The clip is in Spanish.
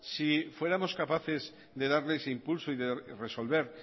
si fuéramos capaces de darle ese impulso y de resolver